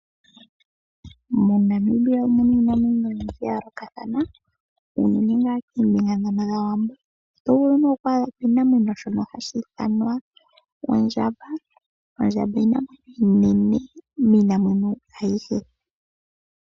MoNamibia omu na iinamwenyo oyindji ya yoolokathana, unene tuu koombinga dhaWambo. Oto vulu oku adha ko oshinamwenyo shono hashi ithanwa ondjamba. Ondjamba oshinamwenyo oshinene miinamwenyo ayihe.